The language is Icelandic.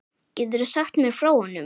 Geturðu sagt mér frá honum?